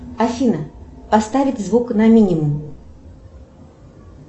афина поставить звук на минимум